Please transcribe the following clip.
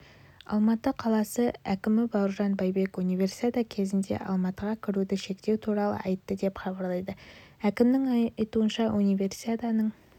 алматы қаласы әкімібауыржан байбек универсиада кезінде алматыға кіруді шектеу туралы айтты деп хабарлайды әкімнің айтуынша универсиаданың